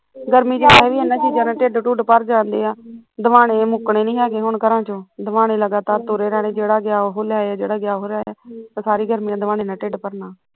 ਗਰਮੀ ਚ ਏਹ ਆ ਵੀ ਚੀਜ਼ਾਂ ਨਾਲ਼ ਢਿੱਡ ਡੂਢ ਭਰ ਜਾਂਦੇ ਆ, ਹਦਵਾਣੇ ਮੁੱਕਣੇ ਨੀ ਹੈਗੇ ਹੁਣ ਘਰਾਂ ਚੋਂ, ਹਦਵਾਣੇ ਲਗਾਤਾਰ ਤੁਰੇ ਰਹਿਣੇ ਜਿਹੜਾ ਗਿਆ ਉਹ ਲੈ ਆਇਆ ਜਿਹੜਾ ਗਿਆ ਉਹ ਲੈ ਆਇਆ, ਸਾਰਿ ਗਰਮੀਆ ਹਦਵਾਣੇ ਨਾਲ਼ ਢਿੱਡ ਭਰਨਾ